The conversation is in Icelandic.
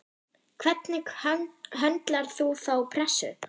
Hvernig höndlar þú þá pressu?